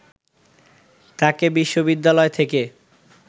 তাঁকে বিশ্ববিদালয় থেকে